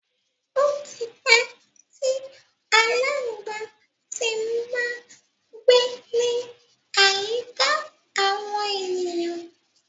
Ó tí pẹ́ tí aláǹgbá ti má ń gbé ní àyíká àwọn ènìyàn.